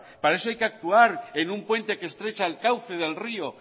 para eso hay que actuar en un puente que estrecha el cauce del río